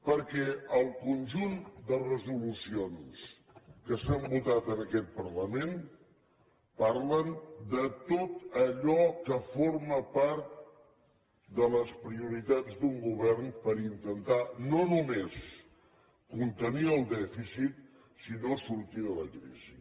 perquè el conjunt de resolucions que s’han votat en aquest parlament parlen de tot allò que forma part de les prioritats d’un govern per intentar no només contenir el dèficit sinó sortir de la crisi